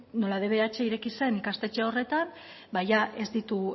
nola dbh ireki zen ikastetxe horretan ba jada